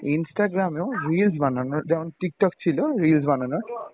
Instagram এও reels বানানোর যেমন Tiktok ছিল reels বানানোর